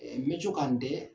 n bɛ to ka n dɛ